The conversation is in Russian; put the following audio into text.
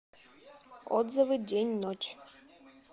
отзывы день ночь